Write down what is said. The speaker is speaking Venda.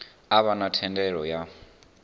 a vha na thendelo ya